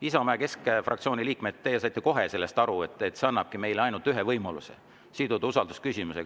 Isamaa ja keskfraktsiooni liikmed, teie saite kohe aru, et see annabki meile ainult ühe võimaluse: siduda usaldusküsimusega.